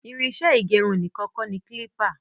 Irinṣẹ ígẹrun nìkan kọ ní klipa